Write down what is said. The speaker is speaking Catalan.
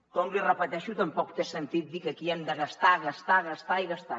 com l’hi repeteixo tampoc té sentit dir que aquí hem de gastar gastar gastar i gastar